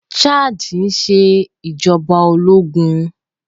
Chadii ń ṣe ìjọba ológun